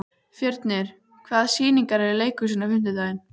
Fjörnir, hvaða sýningar eru í leikhúsinu á fimmtudaginn?